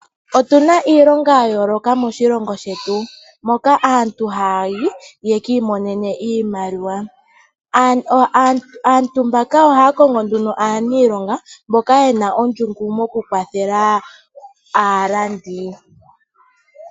Otuna iilonga ya yooloka moshilongo shetu, moka aantu hayayi opo yekii monene iimaliwa. Aantu mbaka ohaya kongo nduno aaniilonga, mboka yena ondjungu mokukwathela aalandi.